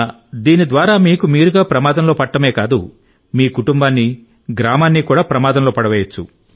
దీని ద్వారా మీకు మీరుగా ప్రమాదంలో పడటమే కాదు మీ కుటుంబాన్ని గ్రామాన్ని కూడా ప్రమాదంలో పడేయవచ్చు